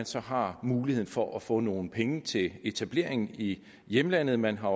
så har mulighed for at få nogle penge til etablering i hjemlandet man har